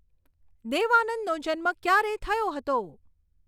દેવ આનંદનો જન્મ ક્યારે થયો હતો